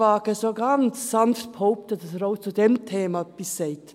Ich wage so ganz sanft zu behaupten, dass der auch zu diesem Thema etwas sagt.